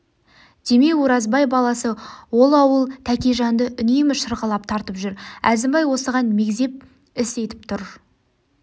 демеу оразбай баласы ол ауыл тәкежанды үнемі шырғалап тартып жүр әзімбай осыған мегзеп іс етіп тұр